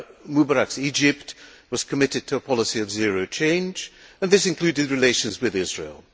Mubarak's Egypt was committed to a policy of zero change, and this included relations with Israel.